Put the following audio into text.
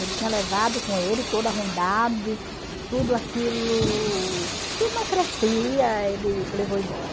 Ele tinha levado com ele toda a ruidade, tudo aquilo que não crescia, ele levou embora.